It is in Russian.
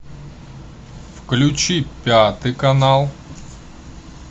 включи пятый канал